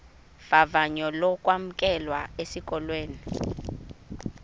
vavanyo lokwamkelwa esikolweni